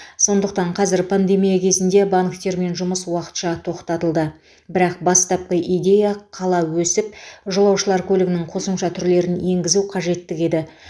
сондықтан қазір пандемия кезінде банктермен жұмыс уақытша тоқтатылды бірақ бастапқы идея қала өсіп жолаушылар көлігінің қосымша түрлерін енгізу қажеттігі еді